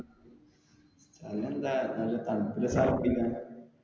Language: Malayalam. സ്ഥലം എന്താ നല്ല തണുപ്പ് ഉള്ള സ്ഥലം നോക്ക.